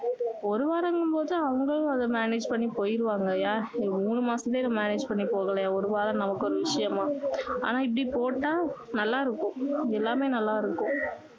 ஒரு வாரங்கும் போது அவங்களும் அதை manage பண்ணி போயிருவாங்க இல்லையா மூணு மாசமே manage பண்ணி போகலையா ஒரு வாரம் நமக்கு ஒரு விஷயமா ஆனா இப்படி போட்டா நல்லா இருக்கும் எல்லாமே நல்லா இருக்கும்